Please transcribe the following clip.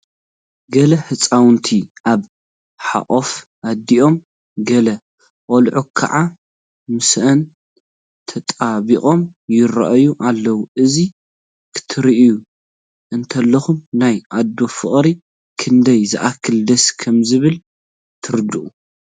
ገለ ህፃውንቲ ኣብ ሕቑፊ ኣዲኦም ገለ ቆልዑ ከዓ ምስአን ተጣቢቖም ይርአዩ ኣለዉ፡፡ እዚ ክትርኢ እንተለኻ ናይ ኣዶ ፍቕሪ ክንደይ ዝኣክል ደስ ከምዝብል ትርዳእ፡፡